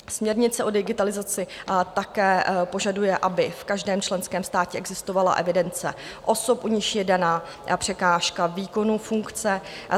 Směrnice o digitalizaci také požaduje, aby v každém členském státě existovala evidence osob, u nichž je dána překážka výkonu funkce.